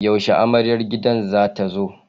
Yaushe amaryar gidan za ta zo?